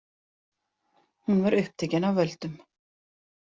Hún var upptekin af völdum.